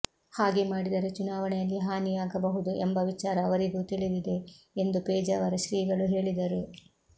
ಹಾಗೆ ಮಾಡಿದರೆ ಚುನಾವಣೆಯಲ್ಲಿ ಹಾನಿಯಾಗಬಹುದು ಎಂಬ ವಿಚಾರ ಅವರಿಗೂ ತಿಳಿದಿದೆ ಎಂದು ಪೇಜಾವರ ಶ್ರೀಗಳು ಹೇಳಿದರು